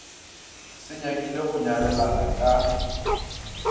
se nyakile go nyalelana ka